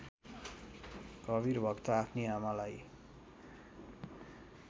कवीरभक्त आफ्नी आमालाई